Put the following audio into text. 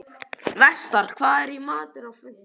Vestar, hvað er í matinn á fimmtudaginn?